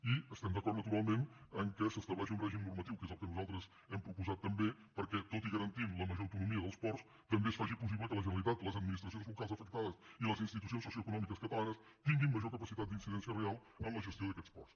i estem d’acord naturalment que s’estableixi un règim normatiu que és el que nosaltres hem proposat també perquè tot i garantint la major autonomia dels ports també es faci possible que la generalitat les administracions locals afectades i les institucions socioeconòmiques catalanes tinguin major capacitat d’incidència real en la gestió d’aquests ports